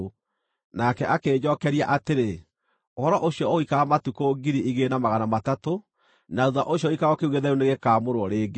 Nake akĩnjookeria atĩrĩ: “Ũhoro ũcio ũgũikara matukũ 2,300; na thuutha ũcio gĩikaro kĩu gĩtheru nĩgĩkaamũrwo rĩngĩ.”